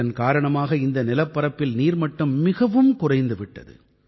இதன் காரணமாக இந்த நிலப்பரப்பில் நீர்மட்டம் மிகவும் குறைந்து விட்டது